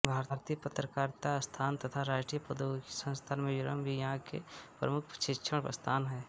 भारतीय पत्रकारिता संस्थान तथा राष्ट्रीय प्रौद्यिगिकी संस्थान मिज़ोरम भी यहाँ के प्रमुख शिक्षण संस्थान हैं